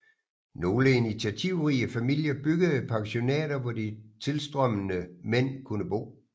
Nogle initiativrige familier byggede pensionater hvor de tilstrømmende mænd kunne bo